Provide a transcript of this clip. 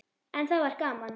En það var gaman.